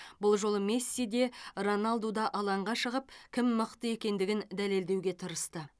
бұл жолы месси де роналду да алаңға шығып кім мықты екендігін дәлелдеуге тырысты